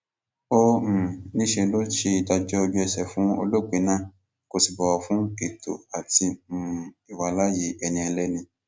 ó um ní níṣe ló ṣe ìdájọ ojúẹsẹ fún olóògbé náà kó sì bọwọ fún ètò àti um ìwàláàyè ẹni ẹlẹni